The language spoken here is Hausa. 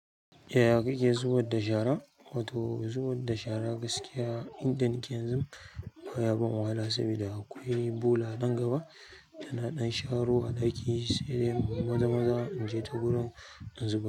Yaya kake zubar da shara? Wato zubar da shara gaskiya inda nike yanzun baya ban wahala saboda akwai bola nan gaba ina ɗan sharowa ɗakin sai in yi maza-maza inje ta wurin in zubar.